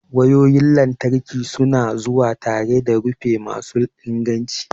wayoyin lantarki su na zuwa tare da rufi masu inganci.